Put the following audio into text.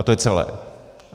A to je celé.